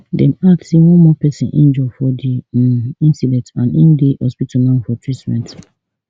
dem add say one more pesin injure for di um incident and im dey hospital now for treatment